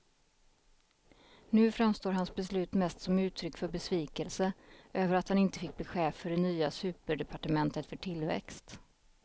Nu framstår hans beslut mest som uttryck för besvikelse över att han inte fick bli chef för det nya superdepartementet för tillväxt.